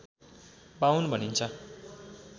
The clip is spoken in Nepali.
बाउन भनिन्छ